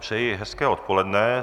Přeji hezké odpoledne.